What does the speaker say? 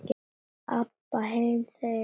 Abba hin þaut á fætur.